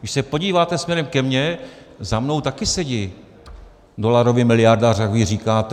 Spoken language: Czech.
Když se podíváte směrem ke mně, za mnou taky sedí dolarový miliardář, jak vy říkáte.